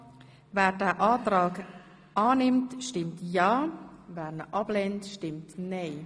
Wer den Kreditantrag annimmt, stimmt ja, wer ihn ablehnt, stimmt nein.